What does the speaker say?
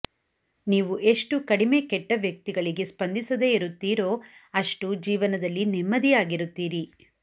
ನೀವು ಎಷ್ಟು ಕಡಿಮೆ ಕೆಟ್ಟ ವ್ಯಕ್ತಿಗಳಿಗೆ ಸ್ಪಂದಿಸದೇ ಇರುತ್ತೀರೋ ಅಷ್ಟುಜೀವನದಲ್ಲಿ ನೆಮ್ಮದಿಯಾಗಿರುತ್ತೀರಿ